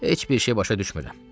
Heç bir şey başa düşmürəm.